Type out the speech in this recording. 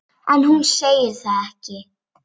En hún segir það ekki.